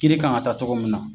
Kiri kan ka taa tɔgɔ mun na.